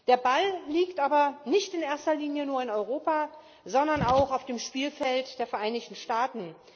Der Ball liegt aber nicht in erster Linie nur in Europa, sondern auch auf dem Spielfeld der Vereinigten Staaten.